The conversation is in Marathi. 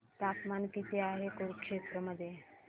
तापमान किती आहे कुरुक्षेत्र मध्ये